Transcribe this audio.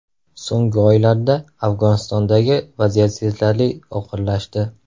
So‘nggi oylarda Afg‘onistondagi vaziyat sezilarli og‘irlashdi.